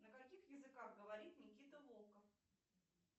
на каких языках говорит никита волков